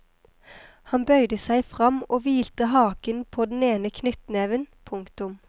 Han bøyde seg fram og hvilte haken på den ene knyttneven. punktum